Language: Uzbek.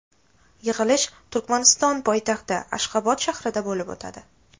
Yig‘ilish Turkmaniston poytaxti Ashxobod shahrida bo‘lib o‘tadi.